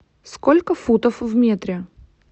сколько футов в метре